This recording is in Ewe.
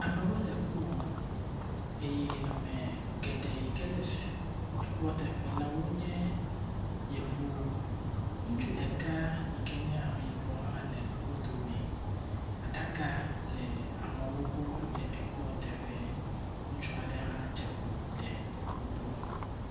Amewo le ku wɔm eye ame geɖe yi ke le fii ekua teƒe la wonye yevuwo. Ŋutsu ɖeka yi ke nye ameyibɔ hã le wo dome. Aɖaka le ameawo gbɔ le ekuateƒe. Ŋutsu aɖe hã dze klo ɖe wo gbɔ.